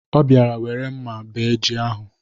Ọ bịara were mma bee ji ahụ.